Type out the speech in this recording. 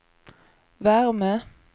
värme